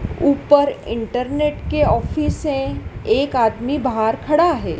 ऊपर इंटरनेट के ऑफिस है एक आदमी बाहर खड़ा है।